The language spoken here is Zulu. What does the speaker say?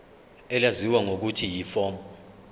elaziwa ngelokuthi yiform